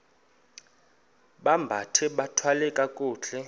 bambathe bathwale kakuhle